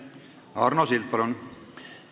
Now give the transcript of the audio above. Arno Sild, palun!